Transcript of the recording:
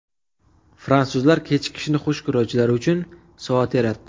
Fransuzlar kechikishni xush ko‘ruvchilar uchun soat yaratdi.